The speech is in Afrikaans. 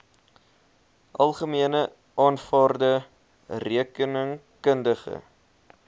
algemene aanvaarde rekeningkundige